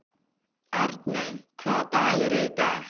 Arney, hvaða dagur er í dag?